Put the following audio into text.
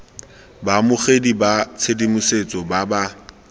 baamogeding ba tshedimosetso ba ba